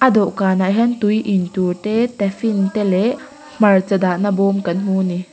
dawhkhanah hian tui in tur te taffin te leh hmarcha dahna bawm kan hmu a ni.